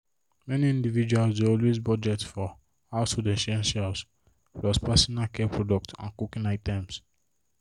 many individuals dey always budget for household essentials plus personal care products and cooking items.